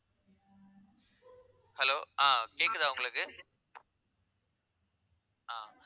hello ஆஹ் கேக்குதா உங்களுக்கு ஆஹ்